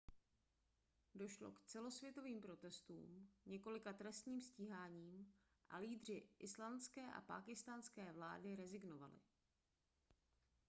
došlo k celosvětovým protestům několika trestním stíháním a lídři islandské a pákistánské vlády rezignovali